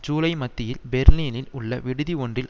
ஜூலை மத்தியில் பெர்லினில் உள்ள விடுதி ஒன்றில்